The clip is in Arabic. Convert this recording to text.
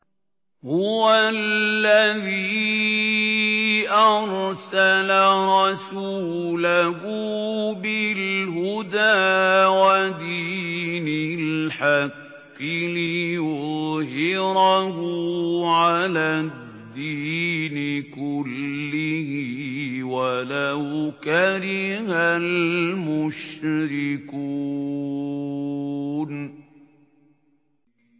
هُوَ الَّذِي أَرْسَلَ رَسُولَهُ بِالْهُدَىٰ وَدِينِ الْحَقِّ لِيُظْهِرَهُ عَلَى الدِّينِ كُلِّهِ وَلَوْ كَرِهَ الْمُشْرِكُونَ